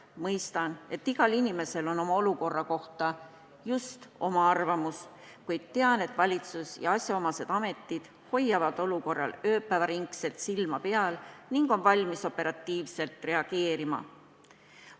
Mõistan, et igal inimesel on oma olukorra kohta just oma arvamus, kuid tean, et valitsus ja asjaomased ametid hoiavad olukorral ööpäev ringi silma peal ning on valmis operatiivselt reageerima.